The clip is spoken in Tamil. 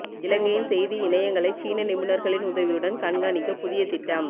இலங்கையின் செய்தி இணையங்களை சீன நிபுணர்களின் உதவியுடன் கண்காணிக்க புதிய திட்டம்